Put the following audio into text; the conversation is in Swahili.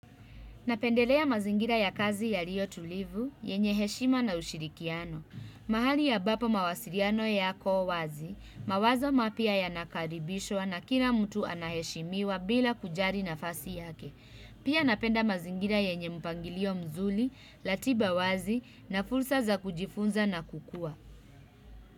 Napendelea mazingira ya kazi yaliyo tulivu, yenye heshima na ushirikiano. Mahali ambapo mawasiliano yako wazi, mawazo mapya yanakaribishwa na kila mtu anaheshimiwa bila kujali nafasi yake. Pia napenda mazingira yenye mpangilio mzuri, ratiba wazi na fursa za kujifunza na kukua.